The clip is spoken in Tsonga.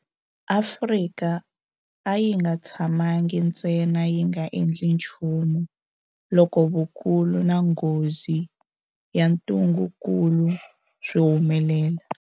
Afrika a yi nga tshamangi ntsena yi nga endli nchumu loko vukulu na nghozi ya ntungukulu swi humelela.